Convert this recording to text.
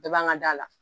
Bɛɛ b'an ŋa da la